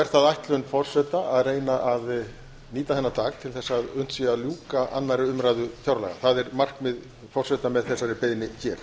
er það ætlun forseta að reyna að nýta þennan dag til að unnt sé að ljúka annarri umræðu fjárlaga það er markmið forseta með þessari beiðni hér